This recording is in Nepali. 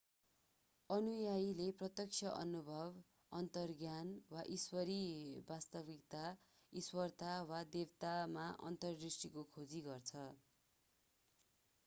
अनुयायीले प्रत्यक्ष अनुभव अन्तर्ज्ञान वा ईश्वरीय वास्तविकता/ईश्वरता वा देवतामा अन्तर्दृष्टिको खोजी गर्छ।